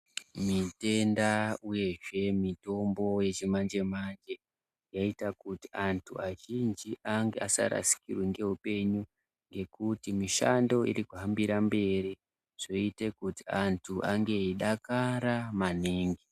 Zvitenda uyezve mitombo yechimanje manje yaaita kuti antu azhinji asarasirirwa neupenyu ngekuti mishando irikuhambira mberi zvoita kuti antu ange eidakara maningi.